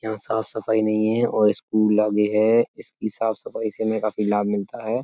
यहाँ साफ सफाई नहीं है और स्कूल आगे है। इसकी साफ सफाई से हमें काफी लाभ मिलता है।